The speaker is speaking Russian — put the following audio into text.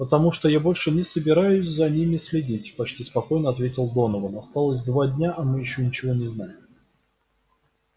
потому что я больше не собираюсь за ними следить почти спокойно ответил донован осталось два дня а мы ещё ничего не знаем